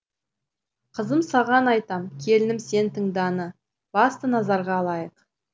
қызым саған айтам келінім сен тыңданы басты назарға алайық